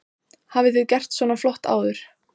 Hafi þið gert svona flott áður?